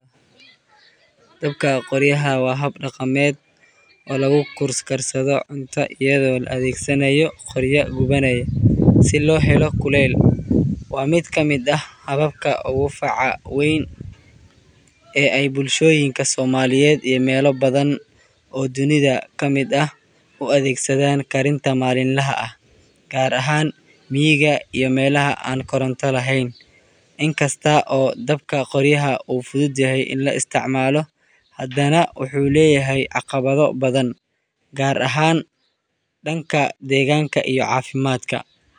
Dabka qoryaha waa hab dhaqameed oo lagu karsado cunto iyadoo la adeegsanayo qoryo gubanaya si loo helo kuleyl. Waa mid ka mid ah hababka ugu faca weyn ee ay bulshooyinka Soomaaliyeed iyo meelo badan oo dunida ka mid ah u adeegsadaan karinta maalinlaha ah, gaar ahaan miyiga iyo meelaha aan koronto lahayn. In kasta oo dabka qoryaha uu fudud yahay in la isticmaalo, haddana wuxuu leeyahay caqabado badan, gaar ahaan dhanka deegaanka iyo caafimaadka.